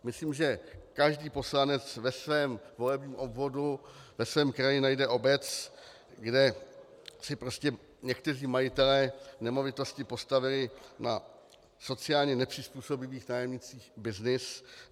Myslím, že každý poslanec ve svém volebním obvodu, ve svém kraji najde obec, kde si prostě někteří majitelé nemovitostí postavili na sociálně nepřizpůsobivých nájemnících byznys.